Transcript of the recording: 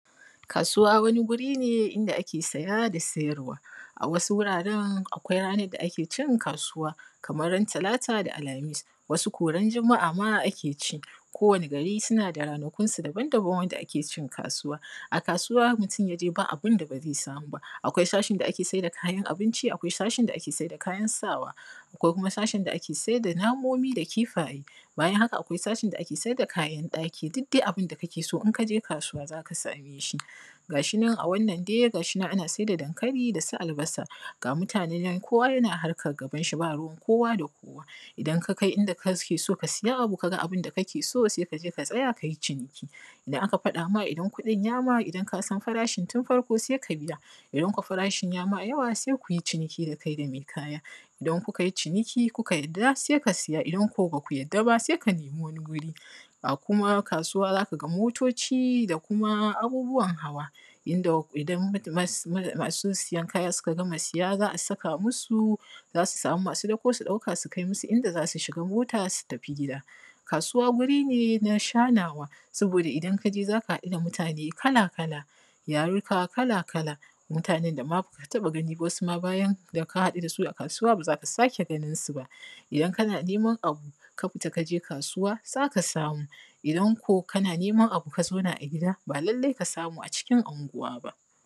Kasuwa wani wuri ne inda ake saye da sayarwa. A wasu wurare akwai ranakun da ake yin kasuwa, kamar Talata, Alhamis, wasu kuma ranar Juma’a. Kowanne gari yana da ranakun kasuwarsa dabam. A kasuwa mutum idan ya je, babu abin da ba zai samu ba. Akwai sashe na kayan abinci, akwai sashen kayan sawa, akwai sashen nomomi da kayayyakin gona, sannan akwai sashen kayan ɗaki. Duk abin da kake nema, idan ka je kasuwa za ka iya samunsa. Ga shi a nan, ana sayar da dankali da albasa. Mutane duk suna harkarsu, ba wanda yake shiga cikin harkan wani. Idan ka kai inda kake so ka ga abin da kake nema, sai ka tsaya ka yi ciniki. Idan farashin ya yi maka tsada, idan ka san farashin da ya kamata, sai ka biya. Idan kuwa farashin bai yi maka daidai ba, sai ku yi ciniki da mai kaya. Idan kun daidaita, sai ka saya. Idan kuma ba ku daidaita ba, sai ka nemi wani wuri daban. A kasuwa kuma za ka ga motoci da sauran manyan ababen hawa. Idan masu sayen kaya suka gama saye, za a samu masu ɗaukar kaya su taimaka a kai musu inda za su shiga mota su tafi gida. Kasuwa wuri ne na shaƙuwa, domin idan ka je za ka haɗu da mutane iri-iri, al’ummomi daban-daban, wasu da ba ka saba ganinsu ba. Wasu ma bayan ka haɗu da su a kasuwa, ba lallai ne ka sake ganinsu ba. Idan kana neman wani abu, ka fita ka je kasuwa, za ka samu. Amma idan kana gida kana neman abu, ba lallai ka same shi a cikin unguwarka ba.